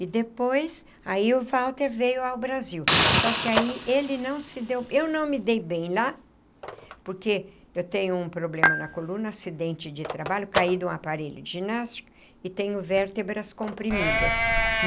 E depois, aí o Walter veio ao Brasil, só que aí ele não se deu... eu não me dei bem lá, porque eu tenho um problema na coluna, acidente de trabalho, caí no aparelho de ginástica e tenho vértebras comprimidas.